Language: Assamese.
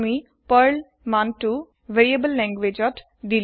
আমি পাৰ্ল ভেলু তু দিলু ভেৰিয়েবোল ল্যাঙ্গুয়েজত